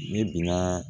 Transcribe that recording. Ne binaa